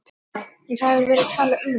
Sindri: En það hefur verið talað um þetta?